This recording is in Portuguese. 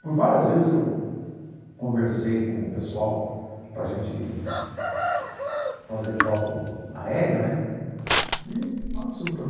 Por várias vezes eu conversei com o pessoal para a gente fazer foto aérea né e